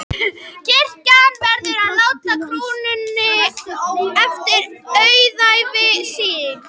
Kirkjan verður að láta krúnunni eftir auðæfi sín.